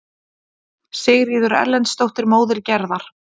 Sigríður Erlendsdóttir, móðir Gerðar.